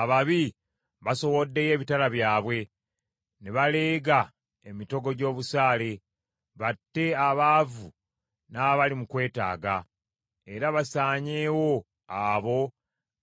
Ababi basowoddeyo ebitala byabwe ne baleega emitego gy’obusaale, batte abaavu n’abali mu kwetaaga era basaanyeewo abo